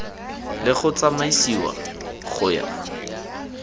le go tsamaisiwa go ya